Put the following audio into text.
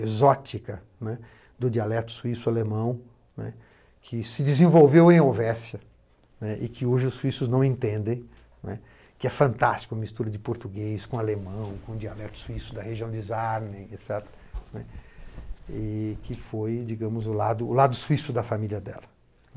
exótica né do dialeto suíço-alemão, né que se desenvolveu em Ovestia né e que hoje os suíços não entendem, né, que é fantástico a mistura de português com alemão, com o dialeto suíço da região de Sarni, et cetera, né, e que foi, digamos, o lado lado suíço da família dela.